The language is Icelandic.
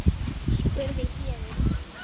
spurði Héðinn.